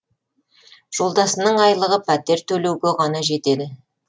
жолдасымның айлығы пәтер төлеуге ғана жетеді